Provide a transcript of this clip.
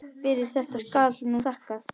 Fyrir þetta skal nú þakkað.